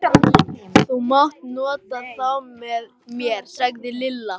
Þú mátt nota þá með mér sagði Lilla.